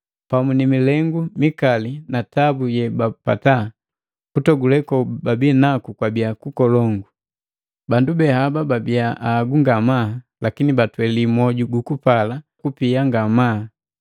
Pamu ni milengu mikali na tabu yebapata, kutogule kobabi naku kwabii kukolongu. Bandu be haba babii ahagu ngamaa, lakini batweli mwoju gukupala kupia ngamaa.